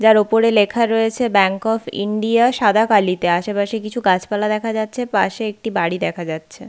যার ওপরে লেখা রয়েছে ব্যাঙ্ক অফ ইন্ডিয়া সাদা কালিতে আশেপাশে কিছু গাছপালা দেখা যাচ্ছে পাশে একটি বাড়ি দেখা যাচ্ছে।